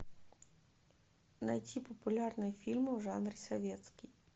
найти популярные фильмы в жанре советский